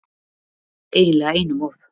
Eiginlega einum of